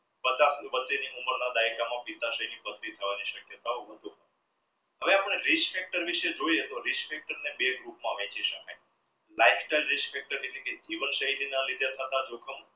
બધા પથરીની શક્યતાઓ વધુ હવે આપણે reach factor ને જોઈએ તો reach factor ને બે group માં વેચી શકાય life style reach factor જીવન શ્રેણી ના લીધે થતા રોગો